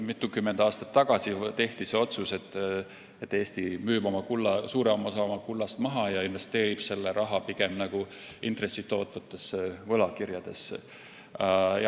Mitukümmend aastat tagasi tehti otsus, et Eesti müüb suurema osa oma kullast maha ja investeerib selle raha pigem intresse tootvatesse võlakirjadesse.